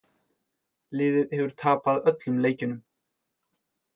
Liðið hefur tapað öllum leikjunum